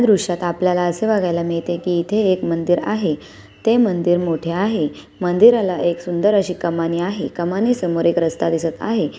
दृश्यात आपल्याला असे बघायला मिळते की इथे एक मंदिर आहे ते मंदीर मोठे आहे मंदिराला एक सुंदर अशी कमान आहे कमानी समोर एक रस्ता दिसत आहे.